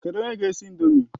Kedụ onye ga-esi ị̀ndómị́?